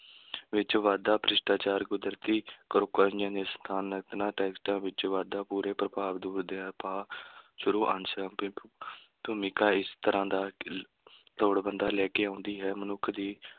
ਵਿੱਚ ਵਾਧਾ, ਭ੍ਰਿਸ਼ਟਾਚਾਰ, ਕੁਦਰਤੀ ਟੈਕਸਟਾਂ ਵਿੱਚ ਵਾਧਾ, ਬੁਰੇ ਪ੍ਰਭਾਵ ਦੂਰ ਦੇ ਉਪਾਅ ਸਾਰ-ਅੰਸ਼ ਵੀ ਭੂਮਿਕਾ ਇਸ ਤਰ੍ਹਾ ਦਾ ਕ~ ਲੋੜਵੰਦਾਂ ਲੈ ਕੇ ਆਉਂਦੀ ਹੈ, ਮਨੁੱਖ ਦੀ